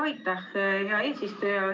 Aitäh, hea eesistuja!